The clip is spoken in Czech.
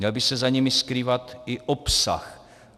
Měl by se za nimi skrývat i obsah.